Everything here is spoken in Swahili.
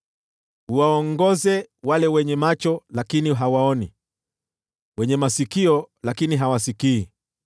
Uwaongoze wale wenye macho lakini hawaoni, wenye masikio lakini hawasikii.